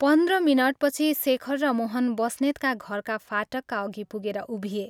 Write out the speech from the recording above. पन्ध्र मिनटपछि शेखर र मोहन बस्नेतका घरका फाटकका अघि पुगेर उभिए।